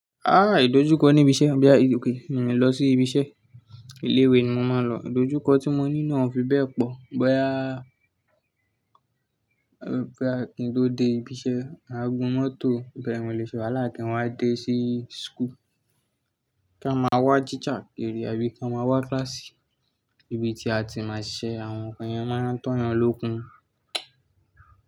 Ah idojukọ ní ibi iṣẹ́, bí àbí ìròpìn mi ń lọ sí ibi iṣẹ́. Ilé ìwé ni mo máa ń lọ, idojukọ tí mo ní na fi bẹ́ẹ̀ pọ̀. Boya a kí n tó dé ibi iṣẹ́, à ń gun mọ́tò bí èmi lè ṣe wá láàkín wá dé sí school. Ká máa wá jíjà ere àbí ká máa wá kíláàsì ibi tí a ti máa ṣe àwọn nnkan yẹn mọ́natọ́yàn lókun.